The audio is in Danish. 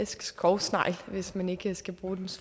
skovsnegl hvis man ikke skal bruge det